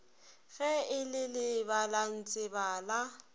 ge e le lebalantsebe la